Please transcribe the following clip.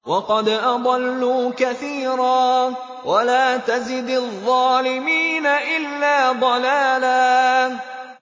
وَقَدْ أَضَلُّوا كَثِيرًا ۖ وَلَا تَزِدِ الظَّالِمِينَ إِلَّا ضَلَالًا